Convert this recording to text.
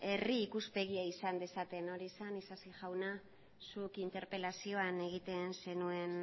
herri ikuspegia esan dezaten hori zen isasi jauna zuk interpelazioan egiten zenuen